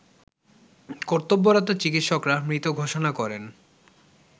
কর্তব্যরত চিকিৎসকরা মৃত ঘোষণা করেন